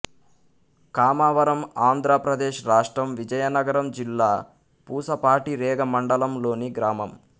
కామవరం ఆంధ్ర ప్రదేశ్ రాష్ట్రం విజయనగరం జిల్లా పూసపాటిరేగ మండలం లోని గ్రామం